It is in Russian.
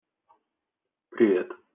привет